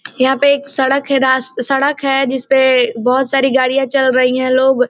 यहाँ पे एक सड़क है रास सड़क है जिसपे बहुत सारी गाड़ियाँ चल रहीं है लोग --